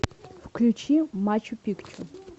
включи мачу пикчу